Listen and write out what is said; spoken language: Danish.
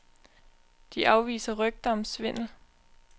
De afviser rygter om svindel.